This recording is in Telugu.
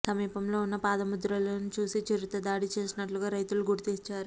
సమీపంలో ఉన్న పాదముద్రలను చూసి చిరుత దాడి చేసినట్లుగా రైతులు గుర్తించారు